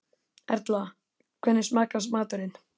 Erla, hvernig smakkast maturinn?